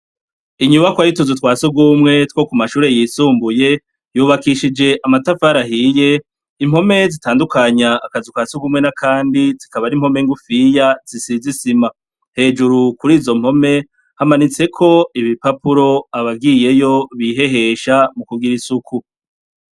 Inyubakwa y'utuzu twa sugumwe two ku mashure yisumbuye yubakishije amatafari ahiye, impome zitandukanya akazu ka sugumwe n'akandi zikaba ari impome ngufiya zisize isima, hejuru kuri izo mpome hamanitseko ibipapura abagiyeyo bihehesha mu kugira isuku.